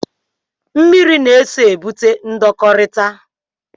Mmiri na-eso egbute ndọkọrita.